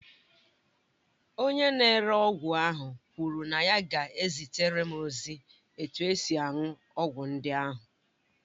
Onye na-ere ọgwụ ahụ kwuru na ya ga-ezitere m ozi etu esi aṅụ ọgwụ ndị ahụ